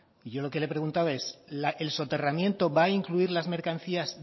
y yo lo que le he preguntado es el soterramiento va a incluir las mercancías